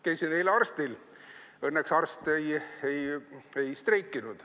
Käisin eile arstil, õnneks arst ei streikinud.